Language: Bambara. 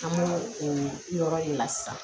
An b'o o yɔrɔ de la sisan